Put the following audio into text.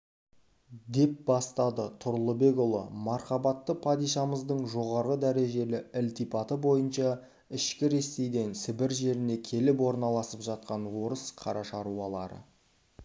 деп бастады тұрлыбек ұлы мархабатты падишамыздың жоғары дәрежелі ілтипаты бойынша ішкі ресейден сібір жеріне келіп орналасып жатқан орыс қара шаруалары